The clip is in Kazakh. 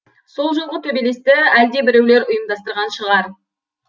сол жолғы төбелесті әлде біреулер ұйымдастырған шығар